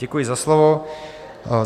Děkuji za slovo.